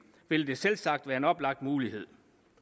vil det selvsagt være en oplagt mulighed